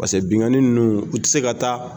Paseke benkanni nunnu u ti se ka taa